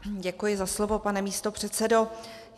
Děkuji za slovo, pane místopředsedo.